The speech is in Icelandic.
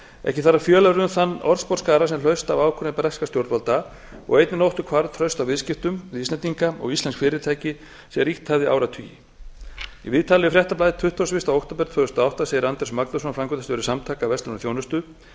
ekki þarf að fjölyrða um þann orðsporsskaða sem hlaust af ákvörðun breskra stjórnvalda á einni nóttu hvarf traust á viðskiptum við íslendinga og íslensk fyrirtæki sem ríkt hafði í áratugi í viðtali við fréttablaðið tuttugasta og fyrsta október tvö þúsund og átta segir andrés magnússon framkvæmdastjóri samtaka verslunar og þjónustu